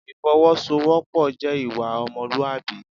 Ìfọwọ́sowọ́pọ̀ jẹ́ ìwà ọmọlúwàbí.